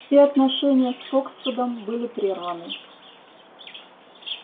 все отношения с фоксвудом были прерваны